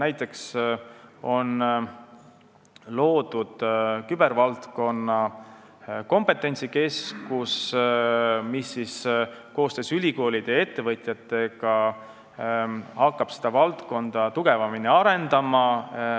Näiteks on loodud kübervaldkonna kompetentsikeskus, mis koostöös ülikoolide ja ettevõtjatega hakkab seda valdkonda tugevamini arendama.